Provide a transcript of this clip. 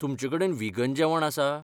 तुमचेकडेन व्हिगन जेवण आसा?